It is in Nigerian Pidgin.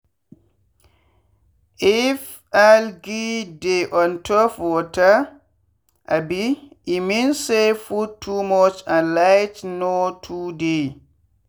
if algae dey on top water um e mean say food too much and light no too dey.